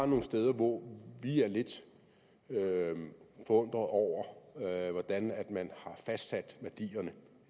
nogle steder hvor vi er lidt forundret over hvordan man har fastsat værdierne